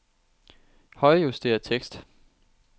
Højrejuster tekst.